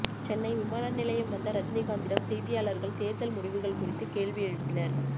சென்னை விமான நிலையம் வந்த ரஜினிகாந்திடம் செய்தியாளர்கள் தேர்தல் முடிவுகள் குறித்து கேள்வி எழுப்பினர்